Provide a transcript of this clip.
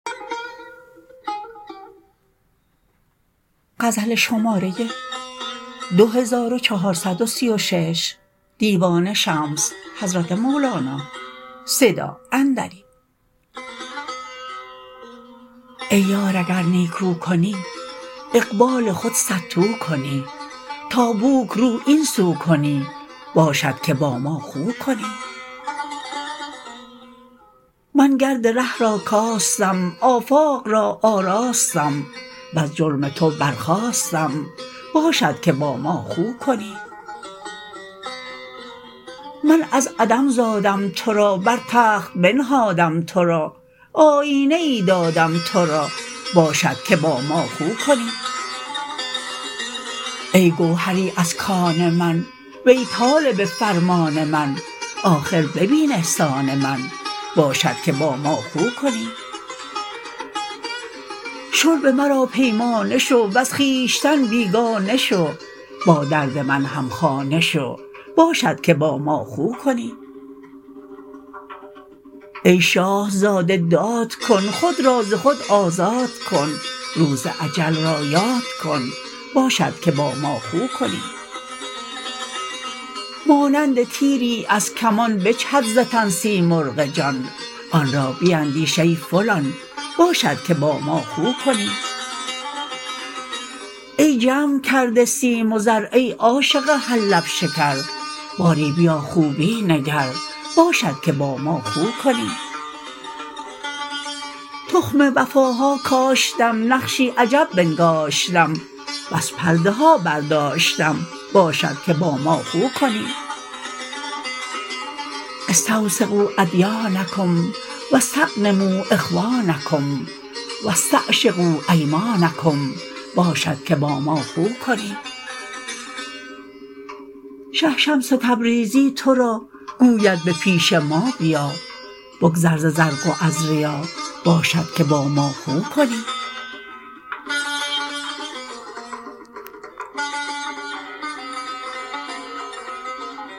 ای یار اگر نیکو کنی اقبال خود صدتو کنی تا بوک رو این سو کنی باشد که با ما خو کنی من گرد ره را کاستم آفاق را آراستم وز جرم تو برخاستم باشد که با ما خو کنی من از عدم زادم تو را بر تخت بنهادم تو را آیینه ای دادم تو را باشد که با ما خو کنی ای گوهری از کان من وی طالب فرمان من آخر ببین احسان من باشد که با ما خو کنی شرب مرا پیمانه شو وز خویشتن بیگانه شو با درد من همخانه شو باشد که با ما خو کنی ای شاه زاده داد کن خود را ز خود آزاد کن روز اجل را یاد کن باشد که با ما خو کنی مانند تیری از کمان بجهد ز تن سیمرغ جان آن را بیندیش ای فلان باشد که با ما خو کنی ای جمع کرده سیم و زر ای عاشق هر لب شکر باری بیا خوبی نگر باشد که با ما خو کنی تخم وفاها کاشتم نقشی عجب بنگاشتم بس پرده ها برداشتم باشد که با ما خو کنی استوثقوا ادیانکم و استغنموا اخوانکم و استعشقوا ایمانکم باشد که با ما خو کنی شه شمس تبریزی تو را گوید به پیش ما بیا بگذر ز زرق و از ریا باشد که با ما خو کنی